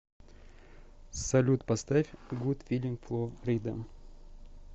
салют поставь гуд филинг фло рида